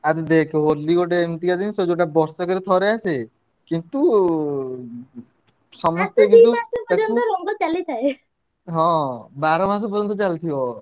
ଆରେ ଦେଖ ହୋଲି ଗୋଟେ ଏମତିକା ଜିନିଷ ଯୋଉଟା ବର୍ଷକରେ ଥରେ ଆସେ କିନ୍ତୁ ହଁ ବାରମାସ ପର୍ଯ୍ୟନ୍ତ